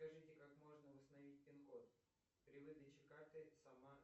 скажите как можно восстановить пин код при выдаче карты сама